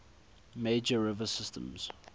major river systems